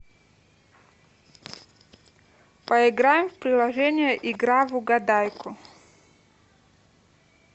поиграем в приложение игра в угадайку